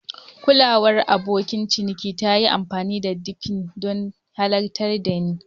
Kulawar abokin ciniki ta yi amfani da pidgin don halartar ni.